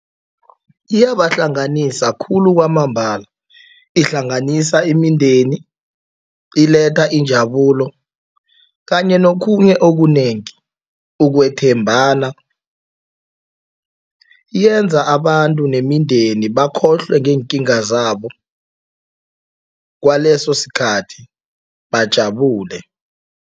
Iyabahlanganisa khulu kwamambala. Ihlanganisa imindeni, iletha injabulo kanye nokhunye okunengi, ukwethembana, yenza abantu nemindeni bakhohlwe ngeenkinga zabo kwaleso sikhathi, bajabule.